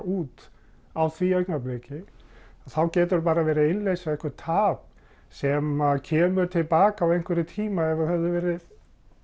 út á því augnabliki þá geturðu bara verið að innleysa eitthvert tap sem kemur til baka á einhverjum tíma ef þú hefðir verið